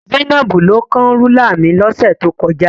Zainab ló kán rúlà mi lọ́sẹ̀ tó kọjá.